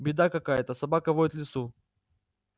беда какая-то собака воет в лесу